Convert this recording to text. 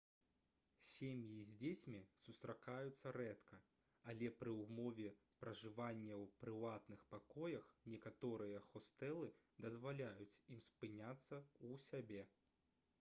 сем'і з дзецьмі сустракаюцца рэдка але пры ўмове пражывання ў прыватных пакоях некаторыя хостэлы дазваляюць ім спыняцца ў сябе